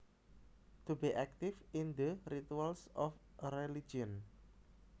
To be active in the rituals of a religion